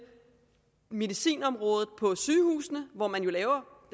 medicinområdet på sygehusene hvor man laver